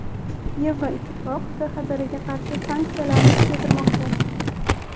Yevroittifoq KXDRga qarshi sanksiyalarni kuchaytirmoqda.